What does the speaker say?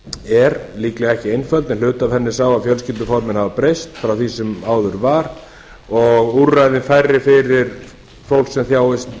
er líklega ekki einföld en hluti af henni í sama fjölskylduformin hafa breyst frá því sem áður var og úrræðin færri fyrir fólk sem þjáist